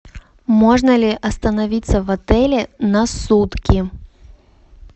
можно ли остановиться в отеле на сутки